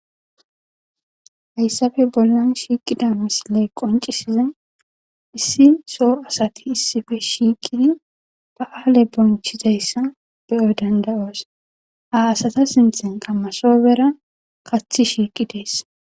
Hayssafe bollan shiiqida misiley qoncisiza issi soo asati issife shiiqidi ba'aale bonchizayssa beyoy dandayoos ha asata sinthen qammasoobera kathi shiiqi deess.